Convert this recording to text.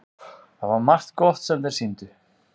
Það var margt gott sem þeir sýndu.